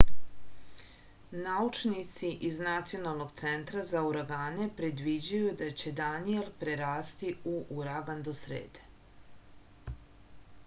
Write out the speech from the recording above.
naučnici iz nacionalnog centra za uragane predviđaju da će daniel prerasti u uragan do srede